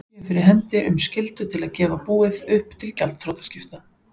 séu fyrir hendi um skyldu til að gefa búið upp til gjaldþrotaskipta.